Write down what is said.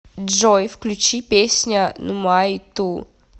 джой включи песня нумай ту